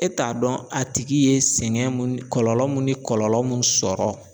E t'a dɔn a tigi ye sɛgɛn mun, kɔlɔlɔ mun ni kɔlɔlɔ mun sɔrɔ